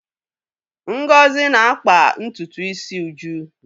Ngozi na-akpa ntutu isi Uju.